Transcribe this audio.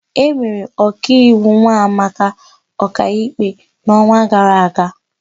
E mere Ọkaiwu Nwamaka ọkaikpe n'ọnwa gara aga.